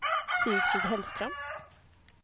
Sigfrid Hellström